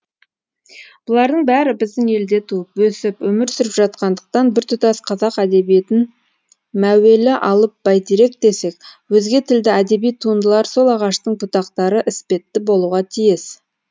бұлардың бәрі біздің елде туып өсіп өмір сүріп жатқандықтан біртұтас қазақ әдебиетін мәуелі алып бәйтерек десек өзге тілді әдеби туындылар сол ағаштың бұтақтары іспетті болуға тиіс